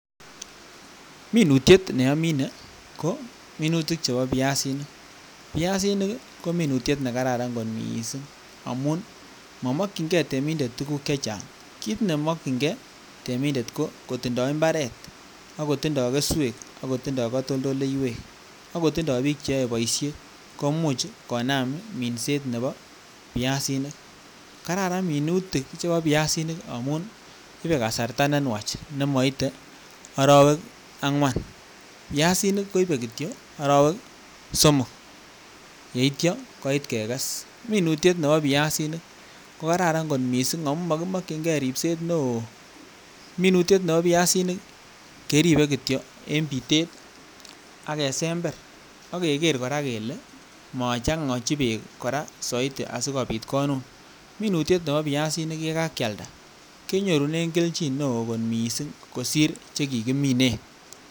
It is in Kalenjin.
Minutiet nominee ko minutiet neboo biasinik, biasinik ko minutiet nekararan kot mising amuun momokying'e temindet tukuk chechang, kiit nemokying'e temindet ko kotindo imbaret ak kotindo keswek ak kotindo katoldoiwek ak kotindo biik cheyoe boishet komuuch konam minset neboo biasinik, kararan minuti chuu boo biasinik amuun ibee kasarta nenwach nemoite oroweek ang'wan, biasinik koibee kityo oroweek somok yeityo koiit kekes, minutiet neboo biasinik ko kararan kot mising akoo mokimokying'e ribseet neoo, minutiet neboo biasinik keribe kityok en bitet ak kesember ak keker kora kelee mochong'ochi beek kora soitii asikobiit konuun, minutiet neboo biasinik yekakialda kenyorunen kelchin newoo kot mising kosir chekikiminen.